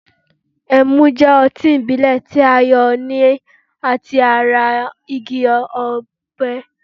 ẹmu jẹ́ ọtí ìbílè ti a yo lati ata igi òpẹ